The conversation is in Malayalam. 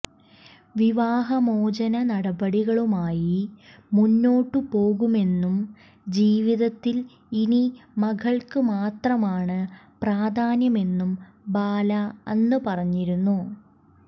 വിവാഹമോചന നടപടികളുമായി മുന്നോട്ടുപോകുമെന്നും ജീവിതത്തിൽ ഇനി മകൾക്ക് മാത്രമാണ് പ്രാധാന്യമെന്നും ബാല അന്ന് പറഞ്ഞിരുന്നു